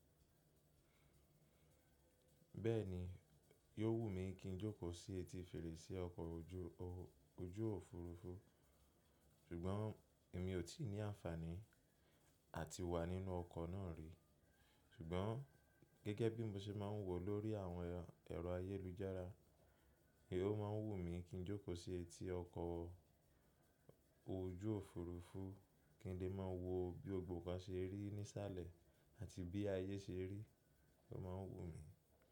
Bẹ́ẹ̀ni, yo wù mí kí n jókòó sí etí fèrèsé ọkọ̀ ojú òfuurufú, ṣùgbọ́n èmi ò tí ì ní àǹfàní à ti wà nínú ọkọ̀ náà rí. Ṣùgbọ́n gẹ́gẹ́ bí mo ṣe máa ń wò lórí àwọn ẹ̀rọ ayélujára, èé o máa ń wù mí kí n jókòó sí etí ọkọ̀ ojú òfuurufú kí n lè máa wo bí gbogbo kan ṣe rí nísàlẹ̀ àti bí ayé ṣe rí, ó máa ń wù mí.